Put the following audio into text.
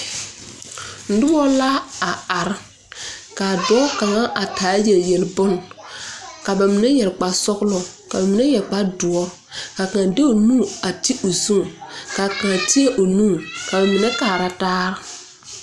Nuba la a arẽ ka doɔ kanga a taa yeli yeli bun ka ba mene yere kpare sɔglo ka mene yere kpare duro ka kang de ɔ nu a te ɔ zu ka kaã teɛ ɔ nu ka ba mene kaara taa.